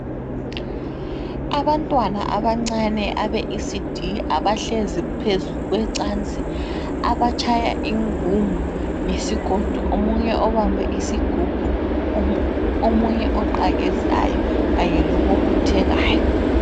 Abantwana abancane abe"ECD" abahlezi phezu kwecansi abatshaya ingungu ngesigodo, omunye obambe isigubhu omunye oqakezayo kanye lobobothekayo.